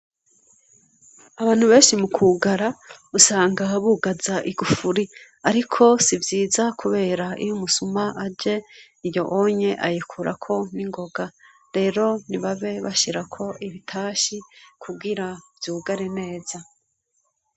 Abantu benshi mu kugara usanga bugaza igufuri, ariko sivyiza, kubera iyo umusuma aje iyo onye ayikurako ningoga rero nibabe bashirako ibitashi kuwira vyugare neza.